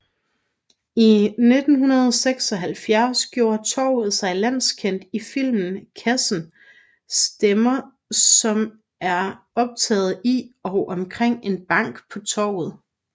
I 1976 gjorde torvet sig landskendt i filmen Kassen stemmer som er optaget i og omkring en bank på Torvet